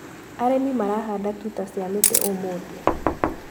Arĩmi marahanda tuta cia mĩtĩ ũmũthĩ.